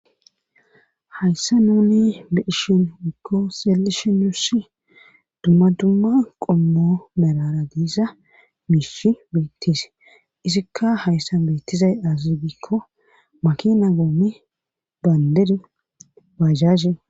hayssa nuni beishin ikko seelishi nuuss dumma dumma qommo merara diisa miishi beettise isikka hayssa beettizay aazazibikko makina goomi baynderi bajahe